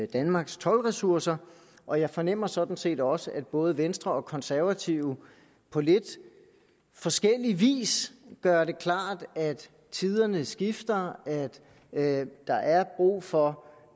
danmarks toldressourcer og jeg fornemmer sådan set også at både venstre og de konservative på lidt forskellig vis gør det klart at tiderne skifter at der er brug for